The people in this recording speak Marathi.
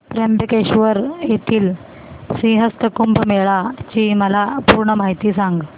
त्र्यंबकेश्वर येथील सिंहस्थ कुंभमेळा ची मला पूर्ण माहिती सांग